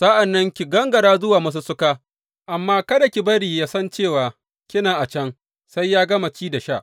Sa’an nan ki gangara zuwa masussuka, amma kada ki bari yă san cewa kina a can sai ya gama ci da sha.